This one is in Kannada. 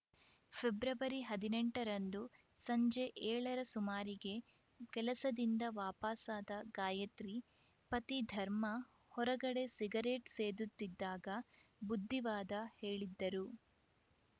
ಫೆಬ್ರವರಿ ಹದಿನೆಂಟರಂದು ಸಂಜೆ ಏಳರ ಸುಮಾರಿಗೆ ಕೆಲಸದಿಂದ ವಾಪಸಾದ ಗಾಯತ್ರಿ ಪತಿ ಧರ್ಮ ಹೊರಗಡೆ ಸಿಗರೆಟ್‌ ಸೇದುತ್ತಿದ್ದಾಗ ಬುದ್ಧಿವಾದ ಹೇಳಿದ್ದರು